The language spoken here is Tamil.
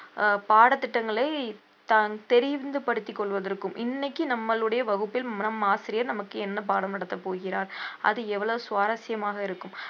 அஹ் பாடத்திட்டங்களை தான் தெரிந்து படுத்திக் கொள்வதற்கும் இன்னைக்கு நம்மளுடைய வகுப்பில் நம் ஆசிரியர் நமக்கு என்ன பாடம் நடத்தப் போகிறார் அது எவ்வளவு சுவாரசியமாக இருக்கும்